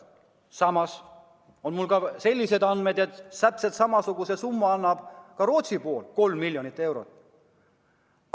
Samas on mul andmed, et täpselt sama suure summa annab ka Rootsi pool, 3 miljonit eurot.